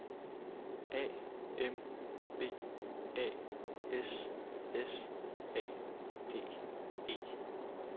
A M B A S S A D E